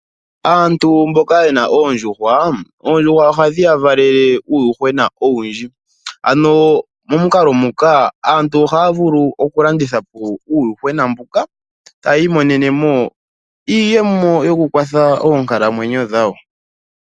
Aantu mboka yena oondjuhwa, oondjuhwa ohadhi yavalele uuyuhwena owundji momukalo muka aantu ohaya vulu okulanditha po uuyuhwena mbuka eta yi imonenemo iiyemo yokukwatha oonkalamwenyo dhawo.